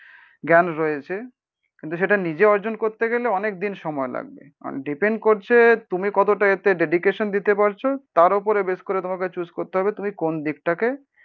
জ্ঞান রয়েছে। কিন্তু সেটা নিজে অর্জন করতে গেলে অনেকদিন সময় লাগবে, মানে ডিপেন্ড করছে তুমি কতটা এতে ডেডিকেশন দিতে পারছো তার ওপরে বেস করে তোমাকে চুস করতে হবে তুমি কোনদিকটাকে